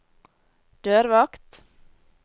dørvakt